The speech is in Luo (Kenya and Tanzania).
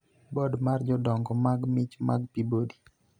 Bod mar Jodongo mag Mich mag Peabody